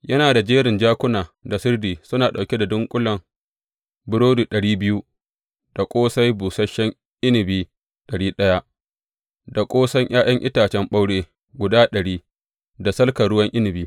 Yana da jerin jakuna da sirdi suna ɗauke da dunƙulen burodi ɗari biyu, da ƙosai busasshen inabi ɗari ɗaya, da kosan ’ya’yan itace ɓaure guda ɗari, da salka ruwan inabi.